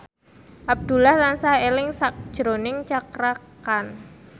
Abdullah tansah eling sakjroning Cakra Khan